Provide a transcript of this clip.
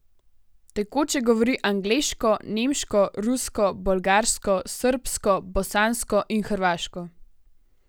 Tekoče govori angleško, nemško, rusko, bolgarsko, srbsko, bosansko in hrvaško.